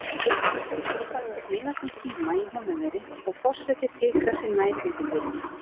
Nú er farið að sneiðast um tíma í Húnaveri og forseti fikrar sig nær útidyrum.